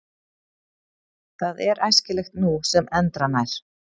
Það er æskilegt nú sem endranær.